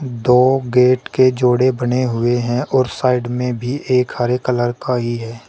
दो गेट के जोड़े बने हुए हैं और साइड में भी एक हरे कलर का ही है।